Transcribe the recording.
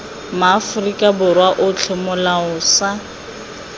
maaforika borwa otlhe molao sa